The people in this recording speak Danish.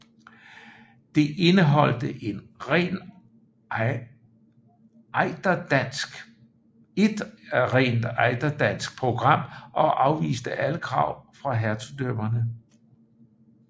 Det indeholdte et rent ejderdansk program og afviste alle krav fra hertugdømmerne